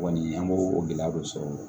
Kɔni an b'o o gɛlɛya dɔ sɔrɔ o la